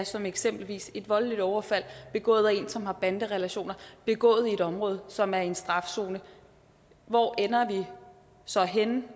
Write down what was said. som eksempelvis et voldeligt overfald begået af en som har banderelationer begået i et område som er i en strafzone hvor ender vi så henne det